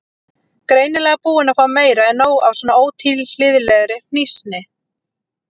Greinilega búin að fá meira en nóg af svona ótilhlýðilegri hnýsni.